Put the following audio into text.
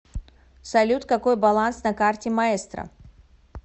салют какой баланс на карте маэстро